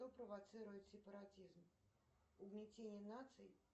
кто провоцирует сепаратизм угнетение наций